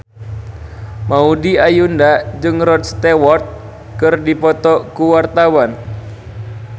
Maudy Ayunda jeung Rod Stewart keur dipoto ku wartawan